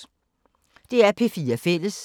DR P4 Fælles